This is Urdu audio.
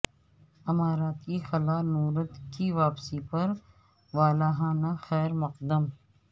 امارات کے خلا نورد کی واپسی پر والہانہ خیرمقدم